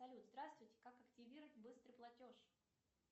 салют здравствуйте как активировать быстрый платеж